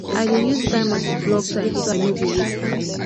i dey use timer to block time so i no go waste am